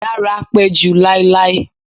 Dara pẹ ju lailai